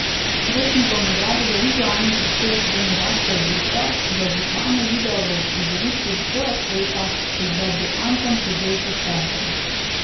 Borštnikovo nagrado za vizualni prispevek prejme Gašper Brezovar za oblikovanje videa v uprizoritvi Vzgoja stoika v izvedbi Anton Podbevšek Teatra.